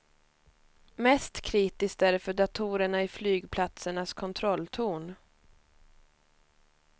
Mest kritiskt är det för datorerna i flygplatsernas kontrolltorn.